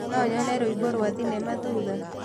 no nyone rwĩmbo rwa thĩnema thũtha